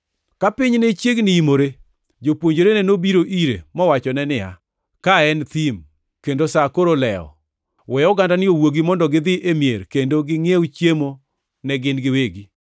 Ka piny ne chiegni imore, jopuonjrene nobiro ire mowachone niya, “Ka en thim, kendo sa koro olewo. We ogandani owuogi mondo gidhi e mier kendo gingʼiew chiemo ne gin giwegi.”